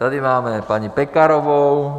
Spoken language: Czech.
Tady máme paní Pekarovou.